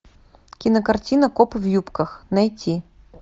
кинокартина копы в юбках найти